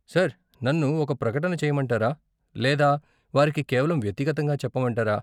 Sir, నన్ను ఒక ప్రకటన చేయమంటారా లేదా వారికి కేవలం వ్యక్తిగతంగా చెప్పమంటారా?